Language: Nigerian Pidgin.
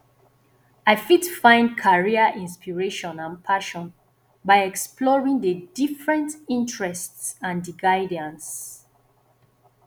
i fit find career inspiration and passion by exploring di different interests and di guidance